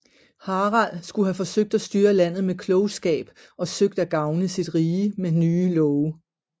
Harald skulle have forsøgt at styre landet med klogskab og søgt at gavne sit rige med nye love